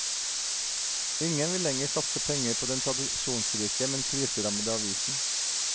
Ingen vil lenger satse penger på den tradisjonsrike, men kriserammede avisen.